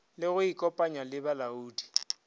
le go ikopanya le balaodi